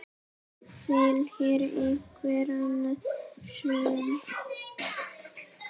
Vill hér einhver annað hrun?